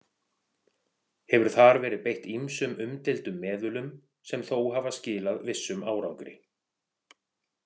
Hefur þar verið beitt ýmsum umdeildum meðulum sem þó hafa skilað vissum árangri.